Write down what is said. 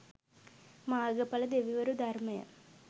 මාර්ගඵල දෙවිවරු ධර්මය